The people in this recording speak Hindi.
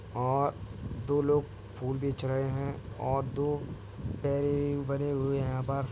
और दो लोग फूल बेच रहे हैं और दो बने हुए हैं यहाँ पर।